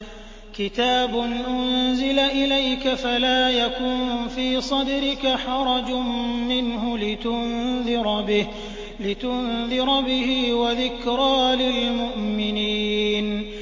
كِتَابٌ أُنزِلَ إِلَيْكَ فَلَا يَكُن فِي صَدْرِكَ حَرَجٌ مِّنْهُ لِتُنذِرَ بِهِ وَذِكْرَىٰ لِلْمُؤْمِنِينَ